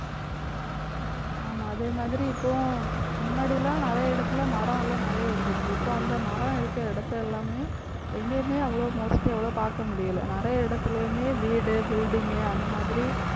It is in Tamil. ஆமா அதே மாதிரி இப்பவும் முன்னாடி எல்லாம் நிறைய இடத்திலே மரம் எல்லாம் நிறைய இருந்துச்சு. இப்போ அந்த மரம் இருக்கிற இடத்தை எல்லாமே எங்கேயுமே அவ்வளோ mostly அவ்வளோ பார்க்க முடியலை. நிறைய இடத்திலேயுமே வீடு building உ அந்த மாதிரி